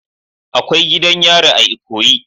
Akwai gidan yari a ikoyi.